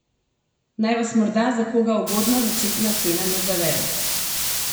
Naj vas morda za koga ugodna začetna cena ne zavede.